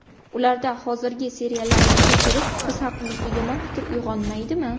Ularda hozirgi seriallarimizni ko‘rib, biz haqimizda yomon fikr uyg‘onmaydimi?